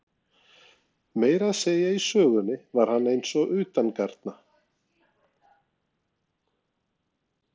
Meira að segja í sögunni var hann eins og utangarna.